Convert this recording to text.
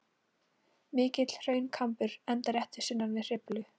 Mikill hraunkambur endar rétt sunnan við Hriflu.